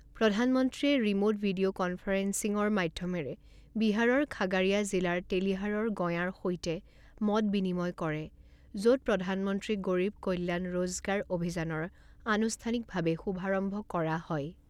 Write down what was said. প্ৰধানমন্ত্ৰীয়ে remote video কনফাৰেন্সিৰ মাধ্যমেৰে বিহাৰৰ খাগাৰিয়া জিলাৰ তেলিহাৰৰ গঁঞাৰ সৈতে মত বিনিময় কৰে, য'ত প্ৰধানমন্ত্ৰী গৰীৱ কল্যান ৰোজগাৰ অভিযানৰ আনুষ্ঠানিক ভাৱে শুভাৰম্ভ কৰা হয়।